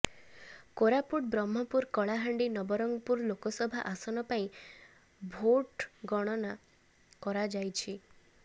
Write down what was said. କୋରାପୁଟ ବ୍ରହ୍ମପୁର କଳାହାଣ୍ଡି ନବରଙ୍ଗପୁର ଲୋକସଭା ଆସନ ପାଇଁ ଭୋଟ୍ଗ୍ରହଣ କରାଯାଇଛି